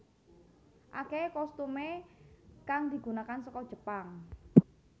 Akehe costume kang digunakan saka Jepang